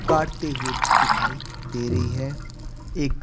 काटते हुए दिखाई दे रही है एक--